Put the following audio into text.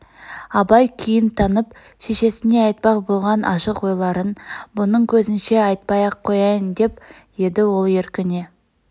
абай күйн танып шешесне айтпақ болған ашық ойларын бұның көзінше айтпай-ақ қояйын деп еді ол еркіне